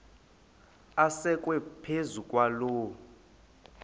asekwe phezu kwaloo